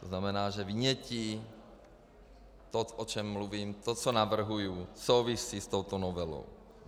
To znamená, že vynětí, to, o čem mluvím, to, co navrhuji, souvisí s touto novelou.